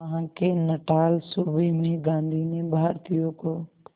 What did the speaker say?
वहां के नटाल सूबे में गांधी ने भारतीयों को